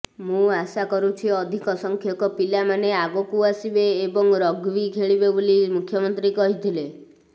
ମୁଁ ଆଶା କରୁଛି ଅଧିକ ସଂଖ୍ୟକ ପିଲାମାନେ ଆଗକୁ ଆସିବେ ଏବଂ ରଗ୍ବି ଖେଳିବେ ବୋଲି ମୁଖ୍ୟମନ୍ତ୍ରୀ କହିଥିଲେ